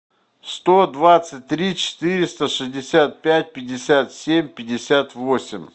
сто двадцать три четыреста шестьдесят пять пятьдесят семь пятьдесят восемь